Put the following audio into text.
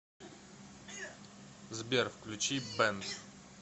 сбер включи бент